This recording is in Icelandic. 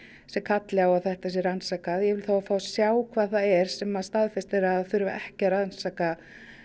sem kalli á að þetta sé rannsakað og ég vil þá fá að sjá hvað það er sem að staðfestir að þurfi ekki að rannsaka